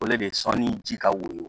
O le bɛ sɔn ni ji ka woyo